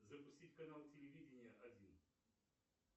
запустить канал телевидения один